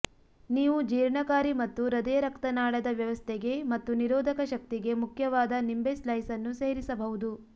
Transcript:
ನೀವು ಜೀರ್ಣಕಾರಿ ಮತ್ತು ಹೃದಯರಕ್ತನಾಳದ ವ್ಯವಸ್ಥೆಗೆ ಮತ್ತು ನಿರೋಧಕ ಶಕ್ತಿಗೆ ಮುಖ್ಯವಾದ ನಿಂಬೆ ಸ್ಲೈಸ್ ಅನ್ನು ಸೇರಿಸಬಹುದು